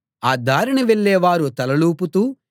ఆ దారిన వెళ్ళేవారు తలలూపుతూ